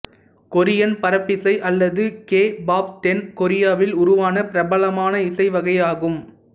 Korean பரப்பிசை அல்லது K pop தென் கொரியாவில் உருவான பிரபலமான இசை வகை ஆகும்